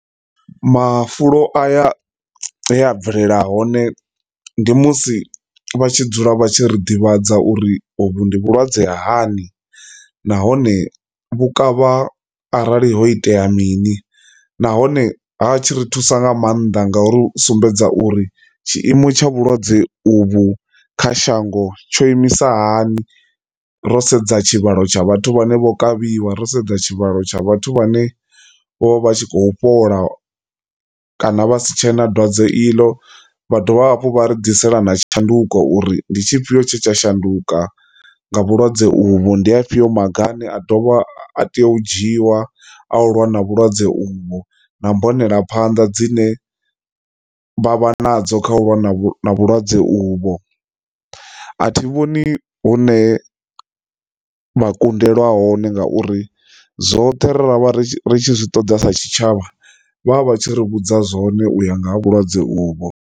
Mafulo aya he a bvelela hone ndi musi vha tshi dzula vha tshi ri ḓivhadza uri hovhu ndi vhulwadze ha hani nahone vhukavha arali ho itea mini, nahone ha tshi ri thusa nga maanḓa nga uri u sumbedza uri tshiimo tsha vhulwadze uvhu kha shango tsho imisa hani ro sedza tshivhalo tsha vhathu vhane vho kavhiwa, ro sedza tshivhalo tsha vhathu vhane vho vha tshi khou fhola kana vha si tshe na dwadze iḽo. Vha dovha hafhu vha ri ḓisela na tshanduko uri ndi tshifhio tshe tsha shanduka nga vhulwadze uvho ndi a fhio maga ane a dovha a tea u dzhiwa a u lwa na vhulwadze uvhu na mbonelaphanḓa dzine vha vha nadzo kha u vha na vhulwadze uvho. A thi vhoni hune vha kundelwa hone ngauri zwoṱhe ra vha ri ri tshi zwi ṱoḓa sa tshitshavha vha vha vha tshi ri vhudza zwone uya nga ha vhulwadze uvho.